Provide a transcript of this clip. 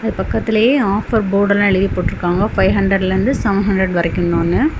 இது பக்கத்திலேயே ஆஃபர் போர்டெல்லாம் எழுதி போட்ருக்காங்க பைவ்ஹண்றட்ல இருந்து சவென்ஹண்றட் வரைக்கும் ன்னு.